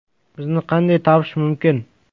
Bizni qanday topish mumkin?